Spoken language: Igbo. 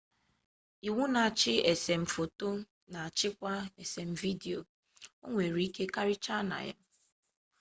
iwu na-achị esem foto na-achịkwa esem vidiyo onwere ike karịchaa na ya